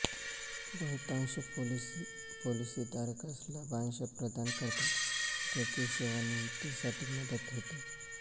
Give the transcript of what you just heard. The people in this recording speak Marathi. बहुतांश पॉलिसी पॉलिसी धारकास लाभांश प्रदान करतात ज्याची सेवानिवृत्तीसाठी मदत होते